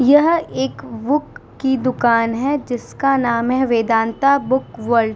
यह एक बुक की दूकान है। जिसका नाम है वेदांता बुक वर्ल्ड --